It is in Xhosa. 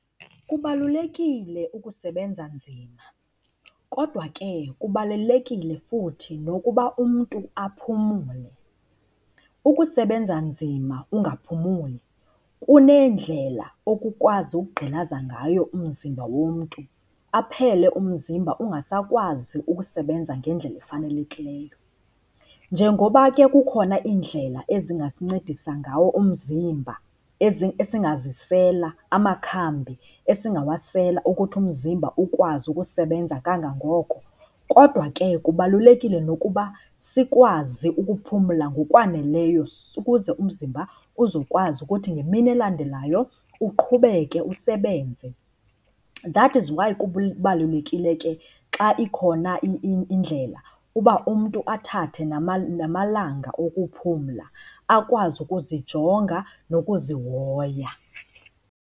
Kubalulekile ukusebenza nzima kodwa ke kubalulekile futhi nokuba umntu aphumule. Ukusebenza nzima ungaphumuli kuneendlela okukwazi ukugqilaza ngayo umzimba womntu aphele umzimba ungasakwazi ukusebenza ngendlela efanelekileyo. Njengoba ke kukhona iindlela ezingasincedisa ngawo umzimba esingazisela amakhambi esingawasela ukuthi umzimba ukwazi ukusebenza kangangoko. Kodwa ke kubalulekile nokuba sikwazi ukuphumla ngokwaneleyo ukuze umzimba uzokwazi ukuthi ngemini elandelayo uqhubeke usebenze. That is why kubalulekile ke xa ikhona indlela uba umntu athathe namalanga okuphumla akwazi ukuzijonga nokuzihoya.